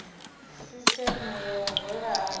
sisieme ya u rwela ari